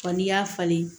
Wa n'i y'a falen